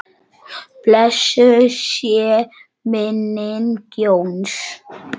Blessuð sé minning Jóns.